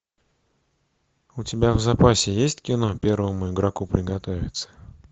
у тебя в запасе есть кино первому игроку приготовиться